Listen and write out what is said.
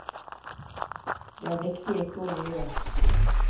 Det er viktig ikke å lyve.